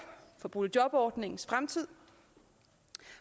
for boligjobordningens fremtid